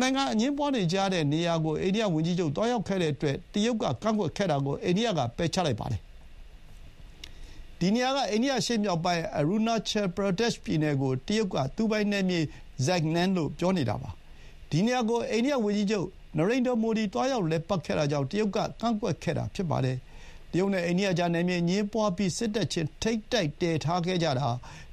နိုင်ငံ အငြင်းပွါးနေတဲ့နေရာကို အိန္ဒိယဝန်ကြီးချုပ်သွားရောက်ခဲ့တဲ့အတွက် တရုတ်က ကန့်ကွက်ခဲ့တာကို အိန္ဒိယကပယ်ချလိုက်ပါတယ်။ ဒီနေရာက အိန္ဒိယ အရှေ့မြောက်ပိုင်း အရူနာချယ် ပရာဒက်ပြည်နယ်ကို တရုတ်က သူပိုင်နယ်မြေ Zangnan လို့ ပြောနေတာပါ။ ဒီနေရာကို အိန္ဒိယဝန်ကြီးချုပ် နရိန္ဒြာ မိုဒီ သွားရောက်လည်ပတ်ခဲ့တာကြောင့် တရုတ်က ကန့်ကွက်ခဲ့တာ ဖြစ်ပါတယ်။ တရုတ်နဲ့အိန္ဒိယကြား နယ်မြေအငြင်းပွါးပြီး စစ်တပ်ချင်း ထိပ်တိုက်တည်ထားခဲ့ကြတာ